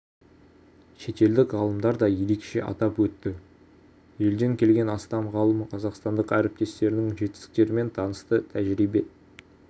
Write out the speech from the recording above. шетелдік ғалымдар да ерекше атап өтті елден келген астам ғалым қазақстандық әріптестерінің жетістіктерімен танысты тәжірибе